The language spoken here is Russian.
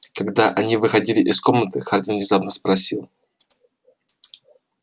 когда они выходили из комнаты хардин внезапно спросил